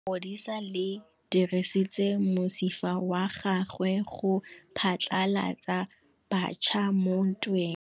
Lepodisa le dirisitse mosifa wa gagwe go phatlalatsa batšha mo ntweng.